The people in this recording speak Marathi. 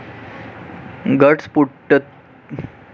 घटस्फोटितांना सुरुवातीला याची जाणीव नसली तरीसुद्धा बहीण भाऊ त्यांना एकटे सोडत नाहीत.